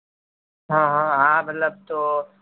હા મતલબ